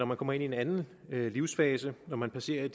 man kommer ind i en anden livsførelse når man passerer